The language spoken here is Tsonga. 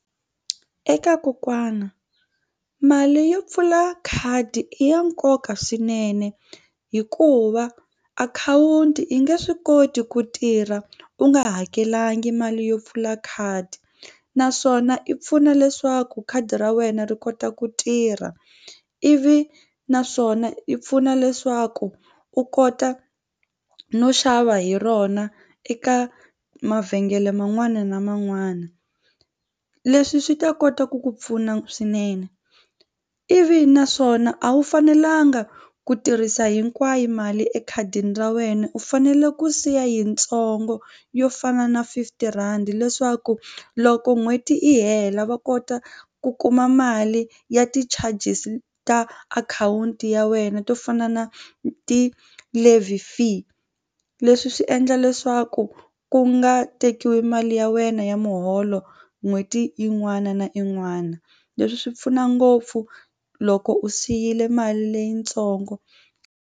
Eka kokwana mali yo pfula khadi i ya nkoka swinene hikuva akhawunti yi nge swi koti ku tirha u nga hakelanga mali yo pfula khadi naswona i pfuna leswaku khadi ra wena ri kota ku tirha ivi naswona yi pfuna leswaku u kota no xava hi rona eka mavhengele man'wana na man'wana. Leswi swi ta kota ku ku pfuna swinene ivi naswona a wu fanelanga ku tirhisa hinkwayo mali ekhadini ra wena u fanele ku siya yitsongo yo fana na fifty rhandi leswaku loko n'hweti yi hela va kota ku kuma mali ya ti-charges ta akhawunti ya wena to fana na ti-live fee leswi swi endla leswaku ku nga tekiwi mali ya wena ya muholo n'hweti yin'wana na yin'wana leswi swi pfuna ngopfu loko u siyile mali leyitsongo.